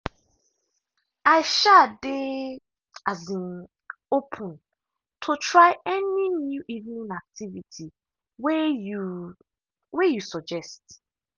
i um dey um open to try any new evening activity way you way you suggest.